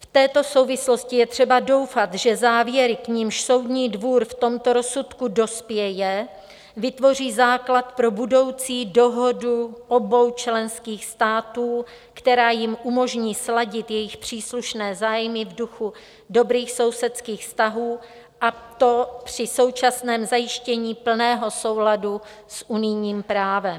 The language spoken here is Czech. V této souvislosti je třeba doufat, že závěry, k nimž Soudní dvůr v tomto rozsudku dospěje, vytvoří základ pro budoucí dohodu obou členských států, která jim umožní sladit jejich příslušné zájmy v duchu dobrých sousedských vztahů, a to při současném zajištění plného souladu s unijním právem.